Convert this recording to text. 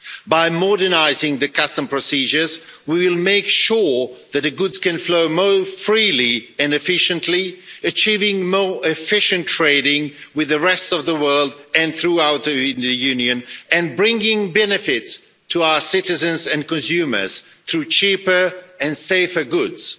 By modernising custom procedures, we will make sure that goods can flow more freely and efficiently, achieving more efficient trading with the rest of the world and throughout the Union, and bringing benefits to our citizens and consumers through cheaper and safer goods.